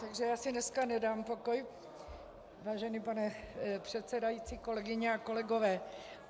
Takže já si dneska nedám pokoj, vážený pane předsedající, kolegyně a kolegové.